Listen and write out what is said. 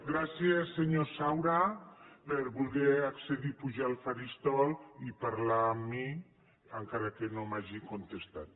gràcies senyor saura per voler accedir a pujar al faristol i parlar amb mi encara que no m’hagi contestat